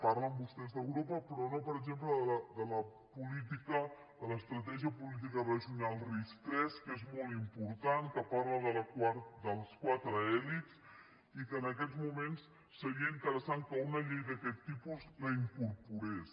parlen vostès d’europa però no per exemple de la política de l’estratègia política regional ris3 que és molt important que parla de les quatre elits i que en aquests moments seria interessant que una llei d’aquest tipus la incorporés